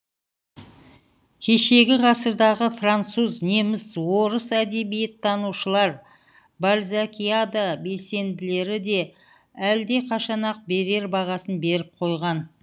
кешегі ғасырдағы француз неміс орыс әдебиеттанушылар бальзакиада белсенділері де әлдеқашан ақ берер бағасын беріп қойған